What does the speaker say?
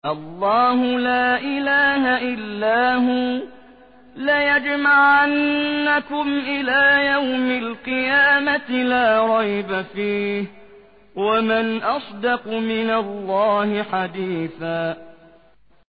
اللَّهُ لَا إِلَٰهَ إِلَّا هُوَ ۚ لَيَجْمَعَنَّكُمْ إِلَىٰ يَوْمِ الْقِيَامَةِ لَا رَيْبَ فِيهِ ۗ وَمَنْ أَصْدَقُ مِنَ اللَّهِ حَدِيثًا